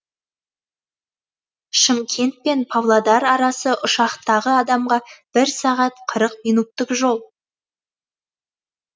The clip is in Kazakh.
шымкент пен павлодар арасы ұшақтағы адамға бір сағат қырық минуттық жол